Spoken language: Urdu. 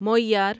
مویار